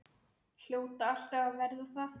Hljóta alltaf að verða það.